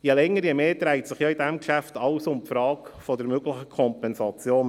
Je länger, je mehr dreht sich in diesem Geschäft alles um die Frage der möglichen Kompensation.